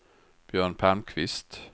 Björn Palmqvist